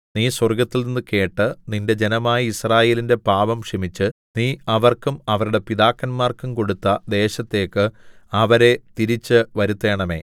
നീ സ്വർഗ്ഗത്തിൽനിന്നു കേട്ട് നിന്റെ ജനമായ യിസ്രായേലിന്റെ പാപം ക്ഷമിച്ച് നീ അവർക്കും അവരുടെ പിതാക്കന്മാർക്കും കൊടുത്ത ദേശത്തേക്ക് അവരെ തിരിച്ചു വരുത്തേണമേ